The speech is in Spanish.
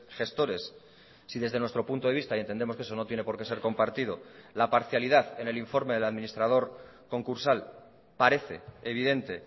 gestores si desde nuestro punto de vista y entendemos que eso no tiene por qué ser compartido la parcialidad en el informe de la administrador concursal parece evidente